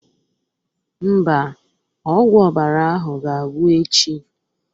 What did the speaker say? Mba, ọgwụ ọbara ahụ ga-agwụ echi